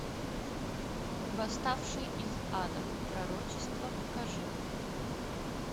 восставший из ада пророчество покажи